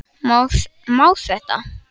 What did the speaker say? Má þetta?